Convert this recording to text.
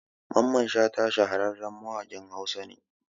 Mamman Shata shahararren mawaƙin Hausa ne